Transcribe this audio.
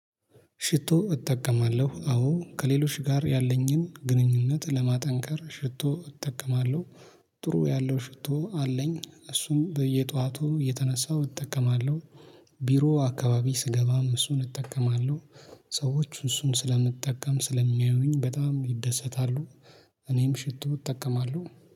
ሽቶ እጠቀማለሁ አዎ ከሌሎች ጋር ያለኝን ግንኙነት ለማጠንከር ሽቶ እጠቀማለሁ። ጥሩ ያለው ሽቶ አለኝ እሱም በየጧቱ እየተነሳው እጠቀማለሁ። ቢሮ አካባቢ ስገባም እሱን እጠቀማለሁ። ሰዎች እሱን ስለምጠቀም ስለሚያዩኝ በጣም እደሰታለው። እናም ሽቶ እጠቀማለሁ